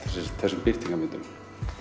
þessum birtingarmyndum